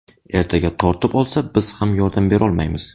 Ertaga tortib olsa, biz ham yordam berolmaymiz.